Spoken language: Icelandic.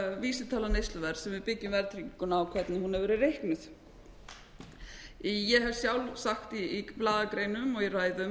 vísitala neysluverðs sem við byggjum verðtrygginguna á hvernig hún hefur verið reiknuð ég hef sjálf sagt í blaðagreinum og í ræðum